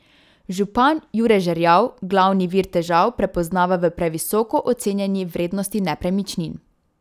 Župan Jure Žerjav glavni vir težav prepoznava v previsoko ocenjeni vrednosti nepremičnin.